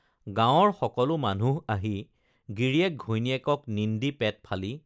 গাঁৱৰ সকলো মানুহ আহি গিৰিয়েক ঘৈণীয়েকক নিন্দি পেটফালি